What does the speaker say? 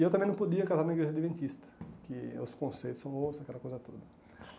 E eu também não podia casar na igreja adventista, que os conceitos são outros, aquela coisa toda.